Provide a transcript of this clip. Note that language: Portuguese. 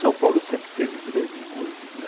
São Paulo sempre teve grandes músicos, né.